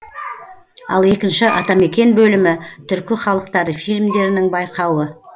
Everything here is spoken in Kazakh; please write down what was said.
ал екінші атамекен бөлімі түркі халықтары фильмдерінің байқауы